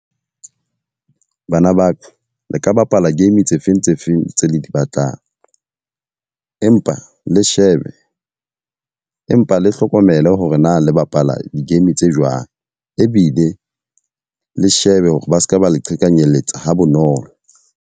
Bana ba ka, le ka bapala game tse feng tse feng tse le di batlang. Empa le shebe, empa le hlokomele hore na le bapala di-game tse jwang. Ebile le shebe hore ba seka ba le qhekanyetsa ha bonolo.